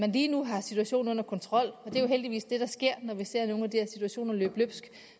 lige nu har situationen under kontrol det er jo heldigvis det der sker nemlig når vi ser nogle af de her situationer løbe løbsk